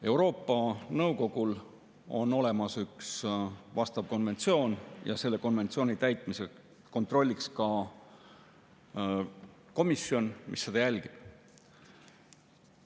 Euroopa Nõukogul on olemas üks konventsioon ja selle konventsiooni täitmise kontrolliks ka vastav komisjon, mis seda jälgib.